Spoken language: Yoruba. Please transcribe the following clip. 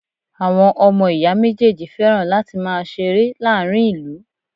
Àwọn ọmọ ìyá méjèèjì fẹ́ràn láti máa ṣeré láàárín ìlú.